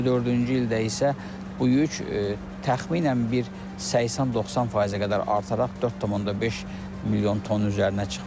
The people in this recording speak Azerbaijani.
2024-cü ildə isə bu yük təxminən bir 80-90%-ə qədər artaraq 4,5 milyon tonun üzərinə çıxmışdır.